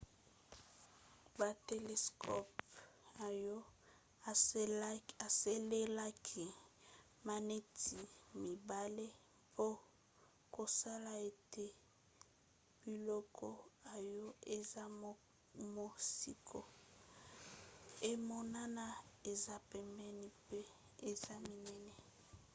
batelescope oyo esalelaki maneti mibale mpo kosala ete biloko oyo eza mosika emonana eza pembeni mpe eza minene